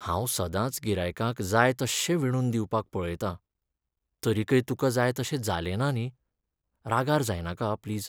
हांव सदांच गिरायकाक जाय तश्शें विणून दिवपाक पळयतां. तरीकय तुका जाय तशें जालेंना न्ही? रागार जायनाका प्लीज.